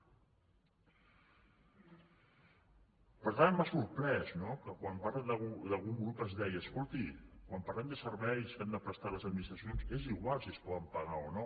per tant m’ha sorprès no que quan parla d’algun grup es deia escolti quan parlem de serveis que han de prestar les administracions és igual si es poden pagar o no